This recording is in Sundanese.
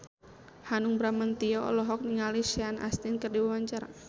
Hanung Bramantyo olohok ningali Sean Astin keur diwawancara